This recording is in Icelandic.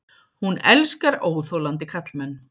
Hún elskar óþolandi karlmenn.